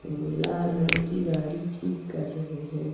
लाल रंग की गाड़ी ठीक कर रहे हैं।